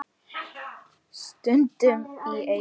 Stundum í einu.